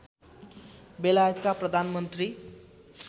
बेलायतका प्रधानमन्त्री